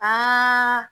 Aa